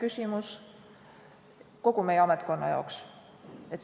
See on kogu meie ametkonnale oluline küsimus.